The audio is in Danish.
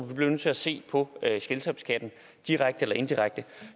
vi bliver nødt til at se på selskabsskatten direkte eller indirekte